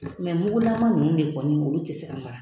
mugulama ninnu de kɔni olu ti se ka mara.